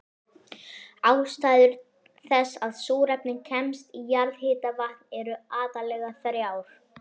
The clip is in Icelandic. Ástæður þess að súrefni kemst í jarðhitavatn eru aðallega þrjár.